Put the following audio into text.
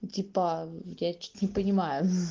типа я что-то не понимаю ха-ха